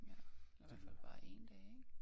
Ja eller i hvert fald bare én dag ikke